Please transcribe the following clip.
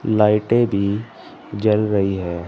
लाइटे भी जल रही है।